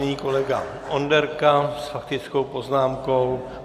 Nyní kolega Onderka s faktickou poznámkou.